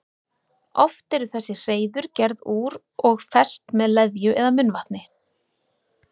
Oft eru þessi hreiður gerð úr og fest með leðju eða munnvatni.